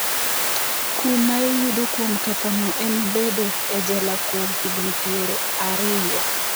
Kum maiyudo kuom kethono en bedo e jela kuom higni piero ariyo .